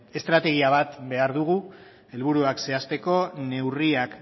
estrategia bat behar dugu helburuak zehazteko neurriak